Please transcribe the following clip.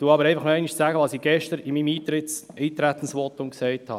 Ich wiederhole aber noch einmal, was ich gestern in meinem Eintretensvotum gesagt habe: